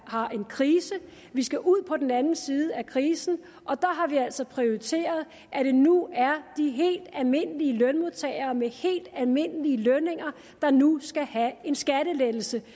har en krise vi skal ud på den anden side af krisen og der har vi altså prioriteret at det nu er de helt almindelige lønmodtagere med helt almindelige lønninger der nu skal have en skattelettelse det